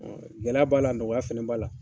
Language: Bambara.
Gɛlɛya b'a la nɔgɔya fɛnɛ b'a la